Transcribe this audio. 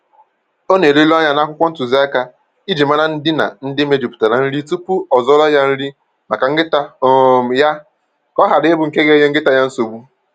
Ọ na-eleru anya n'akwụkwọ ntụziaka iji mara ndịna ndị mejupụtara nri tupu ọ zụọrọ ya nri maka nkịta um ya ka ọ hara ịbụ nke ga-enye nkịta ya nsogbu